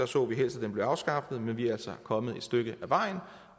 så vi helst at den blev afskaffet men vi er altså kommet et stykke ad vejen